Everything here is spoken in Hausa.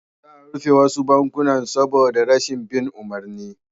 Za a rufe wasu banki saboda rashin bin umarni